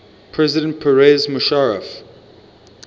president pervez musharraf